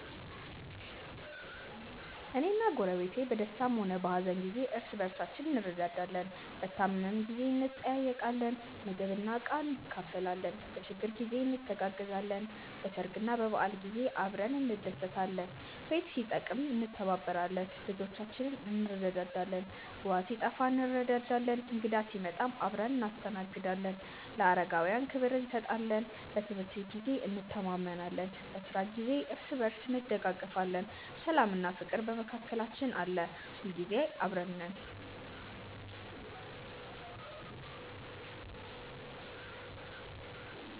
እኔና ጎረቤቴ በደስታም ሆነ በሀዘን ጊዜ እርስ በርሳችን እንረዳዳለን። በታመምን ጊዜ እንጠያየቃለን፣ ምግብና ዕቃ እንካፈላለን፣ በችግር ጊዜ እንተጋገዛለን፣ በሰርግና በበዓል ጊዜ አብረን እንደሰታለን። ቤት ሲጠበቅም እንተባበራለን፣ ልጆቻችንንም እንረዳዳለን። ውሃ ሲጠፋ እንረዳዳለን፣ እንግዳ ሲመጣም አብረን እናስተናግዳለን፣ ለአረጋውያንም ክብር እንሰጣለን። በትምህርት ጊዜም እንተማመናለን፣ በስራ ጊዜም እርስ በርስ እንደጋገፋለን። ሰላምና ፍቅርም በመካከላችን አለ። ሁልጊዜ አብረን ነን።።